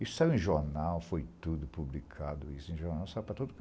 Isso saiu em jornal, foi tudo publicado isso em jornal, saiu para todo canto.